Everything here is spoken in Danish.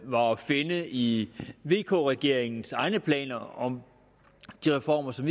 var at finde i vk regeringens egne planer om de reformer som